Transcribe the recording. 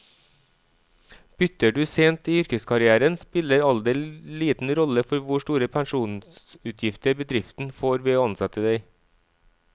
Bytter du sent i yrkeskarrieren, spiller alder liten rolle for hvor store pensjonsutgifter bedriften får ved å ansette deg.